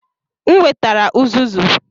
M wetara uzuzu.